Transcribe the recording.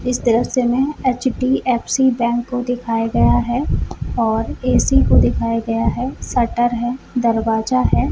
इस दृश्य में एच.डी.एफ.सी बेंक को दिखाया गया है और ए.सी को दिखाया गया है शटर है दरवाजा है।